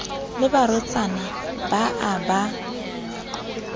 le barwetsana ba a ba